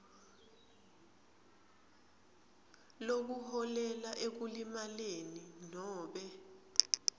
lokuholela ekulimaleni nobe